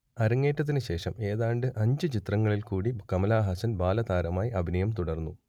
അരങ്ങേറ്റത്തിനു ശേഷം ഏതാണ്ട് അഞ്ചു ചിത്രങ്ങളിൽകൂടി കമലഹാസൻ ബാലതാരമായി അഭിനയം തുടർന്നു